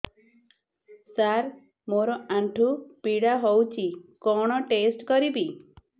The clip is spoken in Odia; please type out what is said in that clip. ସାର ମୋର ଆଣ୍ଠୁ ପୀଡା ହଉଚି କଣ ଟେଷ୍ଟ କରିବି